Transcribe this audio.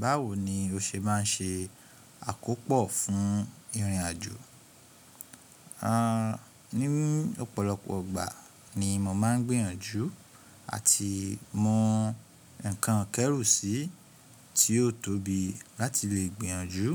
Báwo ni o ṣe máa ń ṣe àkópò fún ìrìnàjò? À, ní ọ̀pọ̀lọpọ̀ ìgbà ni mo máa ń gbìyànjú àti mú nǹkan ìkẹ́rù sí tí yóò tóbi láti lè gbìyànjú